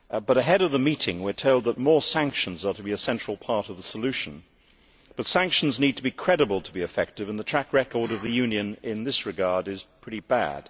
Ahead of the meeting we are told that more sanctions are to be a central part of the solution, but sanctions need to be credible to be effective and the track record of the Union in this regard is pretty bad.